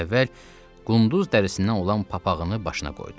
Əvvəl qunduz dərisindən olan papağını başına qoydu.